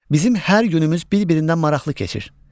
Bizim hər günümüz bir-birindən maraqlı keçir.